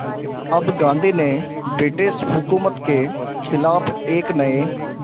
अब गांधी ने ब्रिटिश हुकूमत के ख़िलाफ़ एक नये